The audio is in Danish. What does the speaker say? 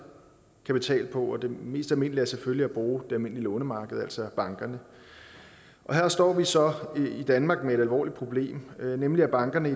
kapital på og den mest almindelige er selvfølgelig at bruge det almindelige lånemarked altså bankerne og her står vi så i danmark med et alvorligt problem nemlig at bankerne